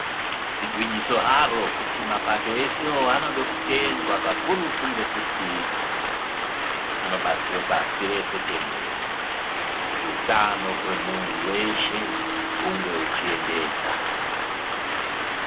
Igwinyiso haro kuti mapato esewo anode kutendwa kakurutu, ngekuti anobatsira pasi rese tenderere, kuti utano hwemuntu hweshe hunge huchiendeka.